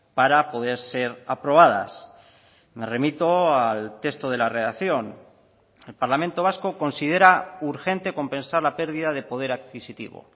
para poder ser aprobadas me remito al texto de la redacción el parlamento vasco considera urgente compensar la pérdida de poder adquisitivo